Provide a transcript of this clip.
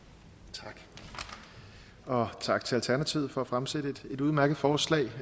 tak og tak til alternativet for at fremsætte et udmærket forslag